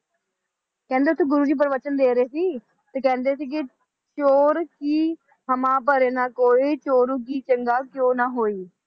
ਕਹਿੰਦੇ ਓਥੇ ਗੁਰੂ ਜੀ ਪ੍ਰਵਚਨ ਦੇ ਰਹੇ ਸੀ, ਤੇ ਕਹਿੰਦੇ ਸੀ ਕਿ ਚੋਰ ਕਿ ਹਮਾ ਭਰੇ ਨ ਕੋੋਇ ਚੋਰੂ ਕੀ ਚੰਗਾ ਕਿਉ ਨ ਹੋਈ